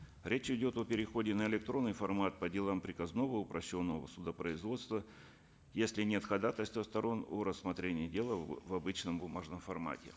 речь идет о переходе на электронный формат по делам приказного упрощенного судопроизводства если нет ходатайства сторон о рассмотрении дела в обычном бумажном формате